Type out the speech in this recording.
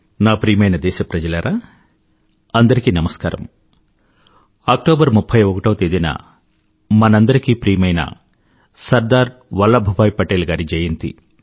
నా ప్రియమైన దేశప్రజలారా అందరికీ నమస్కారం అక్టోబర్ 31వ తేదీన మనందరికీ ప్రియమైన సర్దార్ వల్లభ్ భాయ్ పటేల్ గారి జయంతి